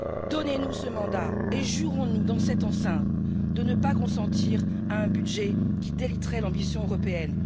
Donnez nous ce mandat et jurons nous, dans cette enceinte, de ne pas consentir à un budget qui déliterait l'ambition européenne.